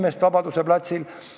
See oli Vabaduse platsil.